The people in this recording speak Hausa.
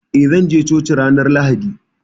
Eh, zan je coki ranar Lahadi.